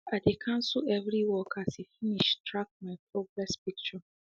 i de cancel every work as e finsh track my progress picture